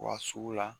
Wa sugu la